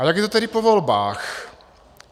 A jak je to tedy po volbách?